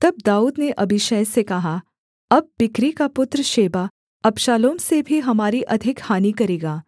तब दाऊद ने अबीशै से कहा अब बिक्री का पुत्र शेबा अबशालोम से भी हमारी अधिक हानि करेगा